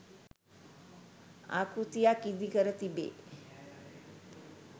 ආකෘතියක් ඉදිකර තිබේ.